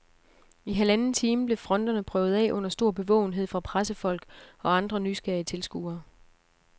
I halvanden time blev fronterne prøvet af under stor bevågenhed fra pressefolk og andre nysgerrige tilskuere.